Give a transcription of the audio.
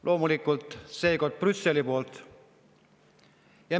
Loomulikult on seekord Brüsseliga.